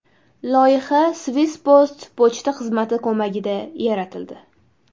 Loyiha Swisspost pochta xizmati ko‘magida yaratildi.